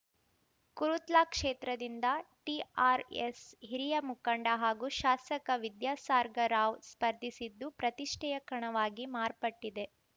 ಕೊರುತ್ಲಾ ಕ್ಷೇತ್ರದಿಂದ ಟಿಆರ್‌ಎಸ್‌ ಹಿರಿಯ ಮುಖಂಡ ಹಾಗೂ ಶಾಸಕ ವಿದ್ಯಾಸಾರ್‌ಗ ರಾವ್‌ ಸ್ಪರ್ಧಿಸಿದ್ದು ಪ್ರತಿಷ್ಠೆಯ ಕಣವಾಗಿ ಮಾರ್ಪಟ್ಟಿದೆ